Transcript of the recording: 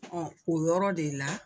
o yɔrɔ de la.